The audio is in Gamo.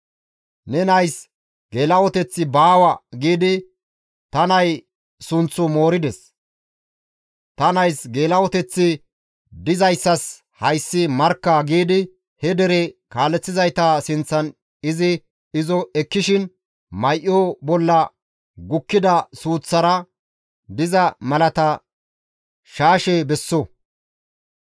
‹Ne nays geela7oteththi baawa› giidi ta nay sunththu moorides; ta nays geela7oteththi dizayssas hayssi markka» giidi he dere kaaleththizayta sinththan izi izo ekkishin may7o bolla gukkida suuththara diza malata carqqaza besso.